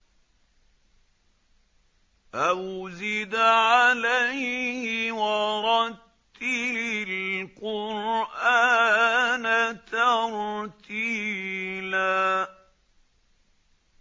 أَوْ زِدْ عَلَيْهِ وَرَتِّلِ الْقُرْآنَ تَرْتِيلًا